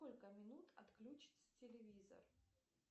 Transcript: сколько минут отключится телевизор